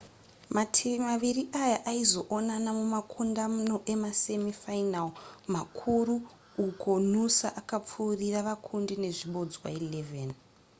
mativi maviri aya aizoonana mumakundano emasemi final makuru uko noosa akapfuurira vakundi nezvibodzwa 11